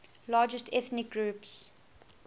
largest ethnic groups